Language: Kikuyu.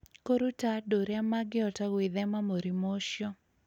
Kũruta andũ ũrĩa mangĩhota gwĩthema mũrimũ ũcio,